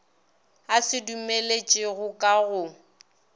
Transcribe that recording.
a se dumeletšego ka go